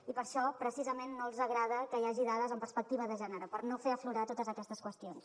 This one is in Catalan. i per això precisament no els agrada que hi hagi dades en perspectiva de gènere per no fer aflorar totes aquestes qüestions